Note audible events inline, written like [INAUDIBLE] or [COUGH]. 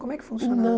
Como é que funcionava [UNINTELLIGIBLE]